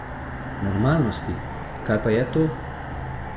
Normalnosti, kaj pa je to?